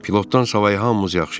Pilotdan savayı hamımız yaxşıyıq.